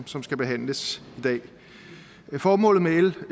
som skal behandles i dag formålet med l